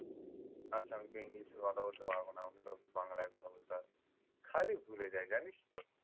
আচ্ছা আমি তো english এ কথা বলতে পারব না। আমাকে তো বাংলায় কথা বলতে হবে। খালি ভুলে যাই জানিস্ তো।